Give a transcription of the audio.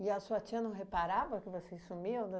E a sua tia não reparava que vocês sumiam